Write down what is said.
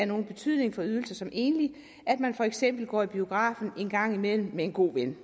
nogen betydning for de ydelser som enlig at man for eksempel går i biografen en gang imellem med en god ven